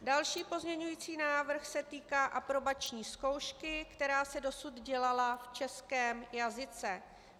Další pozměňovací návrh se týká aprobační zkoušky, která se dosud dělala v českém jazyce.